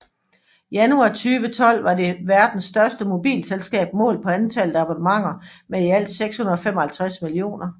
Januar 2012 var det verdens største mobilselskab målt på antallet af abonnenter med i alt 655 millioner